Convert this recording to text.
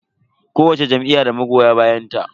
Kowacce jam'iyya da magoya bayanta.